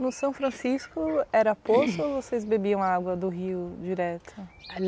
No São Francisco era poço ou vocês bebiam água do rio direto?